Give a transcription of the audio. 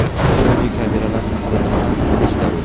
Bodi-kameralar haqida nimalarni bilish zarur?